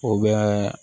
O bɛ